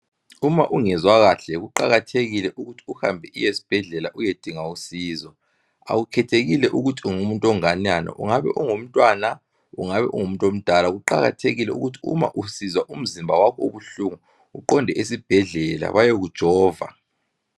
Uma ungezwa kahle kuqakathekile ukuthi uhambe uyesibhedlela uyedinga usizo. Akukhethelekile ukuthi ungumuntu onganani ungabe ungumntwana ungabe ungumuntu omdala kuqakathekile ukuthi uma usizwa umzimba wakho ubuhlungu uqonde esibhedlela bayekujova.